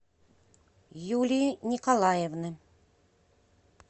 юлии николаевны